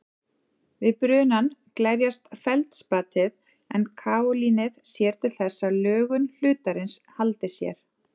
Við brunann glerjast feldspatið en kaólínið sér til þess að lögun hlutarins haldi sér.